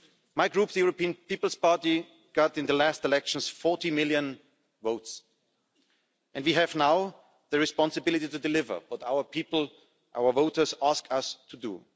My Group, the European People's Party, got in the last elections 40 million votes, and we have now the responsibility to deliver what our people, our voters, ask us to do.